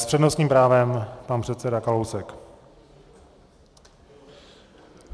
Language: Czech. S přednostním právem pan předseda Kalousek.